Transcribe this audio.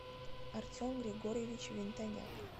артем григорьевич винтоняк